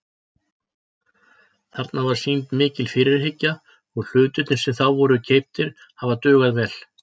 Þarna var sýnd mikil fyrirhyggja og hlutirnir sem þá voru keyptir hafa dugað vel.